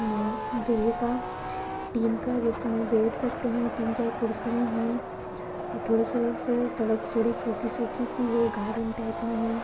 लोहे का टीन का जिसमे बैठ सकते है तीन चार खुर्सिया है थोडसं स सडक थोडी सुखी सुखी सी है गार्डन टाइप मे है।